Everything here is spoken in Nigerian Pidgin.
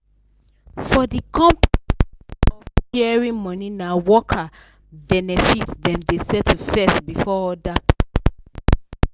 for the company way of sharing money na worker benefit dem dey settle first before other people